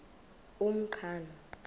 umqhano